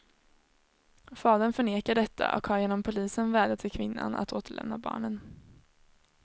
Fadern förnekar detta och har genom polisen vädjat till kvinnan att återlämna barnen.